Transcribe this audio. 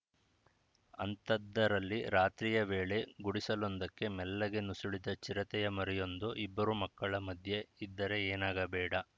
ಅಂಥದ್ದರಲ್ಲಿ ರಾತ್ರಿಯ ವೇಳೆ ಗುಡಿಸಲೊಂದಕ್ಕೆ ಮೆಲ್ಲಗೆ ನುಸುಳಿದ ಚಿರತೆಯ ಮರಿಯೊಂದು ಇಬ್ಬರು ಮಕ್ಕಳ ಮಧ್ಯೆ ಇದ್ದರೆ ಏನಾಗಬೇಡ